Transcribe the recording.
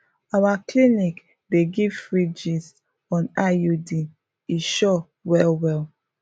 our clinic dey give free gist on iuds e sure well well